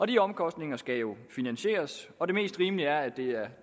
de omkostninger skal jo finansieres og det mest rimelige er at det er